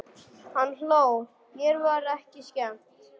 Hann hló, mér var ekki skemmt.